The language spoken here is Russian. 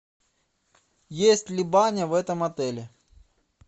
есть ли баня в этом отеле